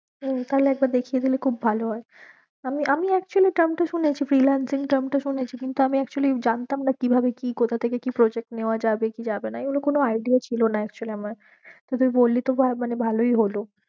হম তাহলে একবার দেখিয়ে দিলে খুব ভালো হয়ে, আমি আমি actually term টা শুনেছি কিন্তু আমি actually জানতাম না কি ভাবে কি কোথা থেকে কি project নেওয়া যাবে কি যাবে না, এইগুলো কোনো idea ছিল না actually আমার তো তুই বললি তো বা~ মানে ভালোই হলো।